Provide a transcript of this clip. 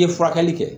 N ye furakɛli kɛ